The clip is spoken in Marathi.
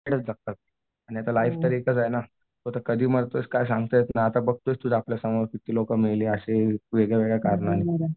जगतात आणि आता लाईफ तर एकच आहे ना तू आता कधी मरतोयस काय सांगता येत नाही आता बघतोस तू आपल्या समोर किती लोकं मेली वेगळ्यावेगळ्या कारणाने.